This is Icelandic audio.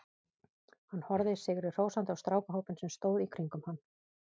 Hann horfði sigri hrósandi á strákahópinn sem stóð í kringum hann.